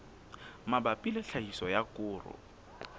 mabapi le tlhahiso ya koro